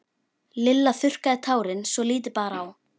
Lilla þurrkaði tárin svo lítið bar á.